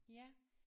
Ja